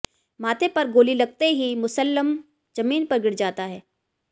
माथे पर गोली लगते ही मुसल्लम जमीन पर गिर जाता है